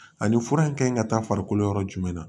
Ani fura in kan ka taa farikolo yɔrɔ jumɛn na